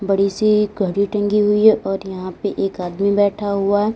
बड़ी सी घड़ी टंगी हुई है और यहां से एक आदमी बैठा हुआ--